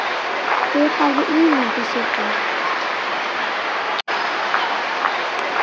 Hver hefði ímyndað sér það?